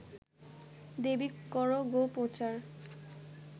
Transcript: দেবি কর গো প্রচার